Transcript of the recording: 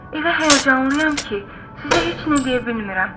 Elə həyəcanlıyam ki, sizə heç nə deyə bilmirəm.